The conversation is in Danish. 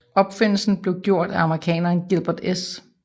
Opfindelsen blev gjort af amerikaneren Gilbert S